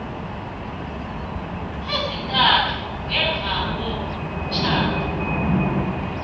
ezintathu ngemva komtjhado